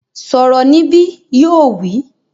Sọ̀rọ̀ níbí! Yóò wí